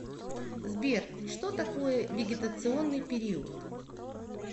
сбер что такое вегетационный период